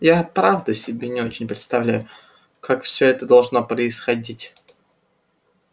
я правда себе не очень представляю как все это должно происходить